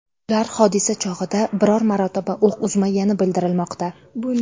Ular hodisa chog‘ida biror marotaba o‘q uzmagani bildirilmoqda.